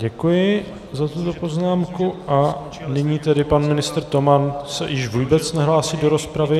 Děkuji za tuto poznámku a nyní tedy pan ministr Toman se již vůbec nehlásí do rozpravy.